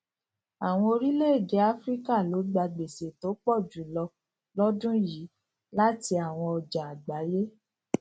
àwọn orílẹèdè áfíríkà ló gba gbèsè tó pọ jù lọ lọdún yìí láti àwọn ọjà àgbáyé